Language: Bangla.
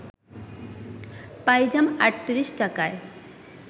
পাইজাম ৩৮ টাকায়